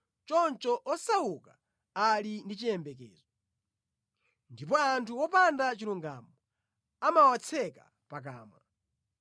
Choncho osauka ali ndi chiyembekezo, ndipo anthu opanda chilungamo amawatseka pakamwa.